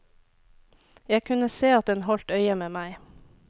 Jeg kunne se at den holdt øye med meg.